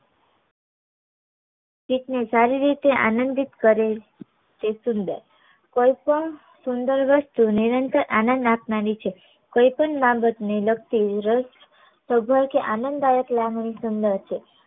ચિત ને સારી રીતે આંદ્ન્દિત કરી તે સુંદર કોઈ પણ સુંદર વશ જો નિરંતર નીચે કોઈ પણ બાબત ને લગતી કે આનંદદાયક લાગણી સુંદર છે